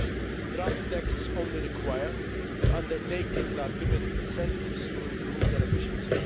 The draft texts only require that undertakings be given incentives to improve their efficiency.